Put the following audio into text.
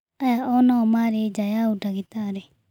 Aya o nao marĩ nja ya ũndagĩtarĩ